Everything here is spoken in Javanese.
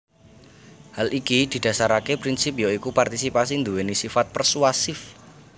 Hal iki didasaraké prinsip ya iku partisipasi nduwèni sifat persuatif